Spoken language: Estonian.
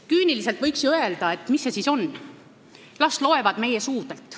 Küüniliselt võiks ju öelda, et mis sest siis on – las loevad meie suudelt.